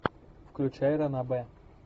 включай ранобэ